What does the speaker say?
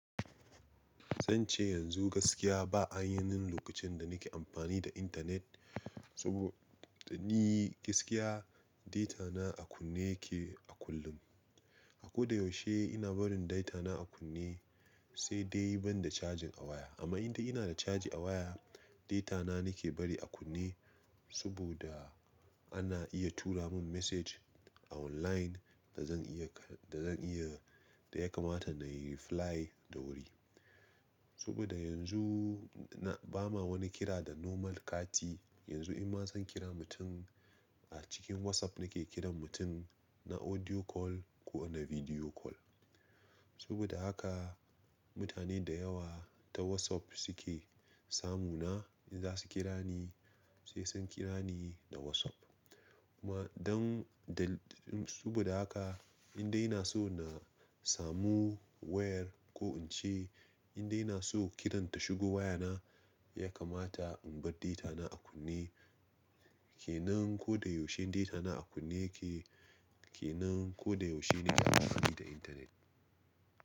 Zan ce yanzu gaskiya ba an yi min lokacin da nake amfani da intanet, saboda ni gaskiya data na a kunne yake a kullum. A ko da yaushe ina barin data na a kunne sai dai ban da cajin a waya. Amma idan ina da caji a waya, data na nake bari a kunne saboda ana iya tura mun sako a online da zan iya, da zan iya, da ya kamata na yi amsa da wuri. Saboda yanzu na bama wani kira da normal kati, yanzu in ma zan kira mutum a cikin WhatsApp nake kiran mutum, na audio call ko kiran bidiyo. Saboda haka mutane da yawa ta WhatsApp suke samu na, in za su kira ni sai sun kira ni da WhatsApp. Ma dan da, saboda haka in dai na so na samu wayar ko in ce, in dai na so kiranta shigo waya na ya kamata in bar data na a kunne. Ke nan ko da yaushe data na a kunne yake, ke nan ko da yaushe nake amfani da intanet.